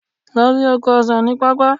Lọ sí oko ọsan ní pápá.